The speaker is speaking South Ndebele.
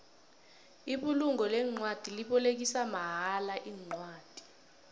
ibulungo leencwadi libolekisa mahala incwadi